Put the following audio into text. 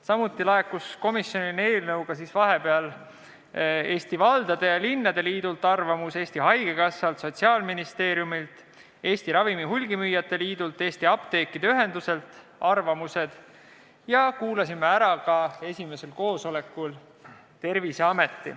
Samuti laekusid komisjonile arvamused Eesti Linnade ja Valdade Liidult, Eesti Haigekassalt, Sotsiaalministeeriumilt, Eesti Ravimihulgimüüjate Liidult ja Eesti Apteekide Ühenduselt ning esimesel koosolekul kuulasime ära ka Terviseameti.